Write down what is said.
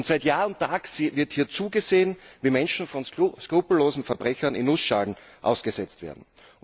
Seit Jahr und Tag wird hier zugesehen, wie Menschen von skrupellosen Verbrechern in Nussschalen ausgesetzt werden.